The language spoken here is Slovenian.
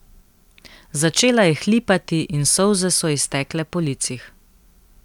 Začela je hlipati in solze so ji stekle po licih.